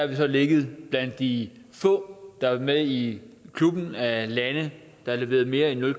vi så ligget blandt de få der er med i klubben af lande der har leveret mere end nul